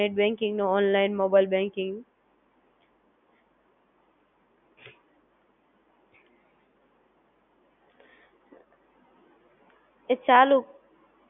NetBanking નો, mobilebanking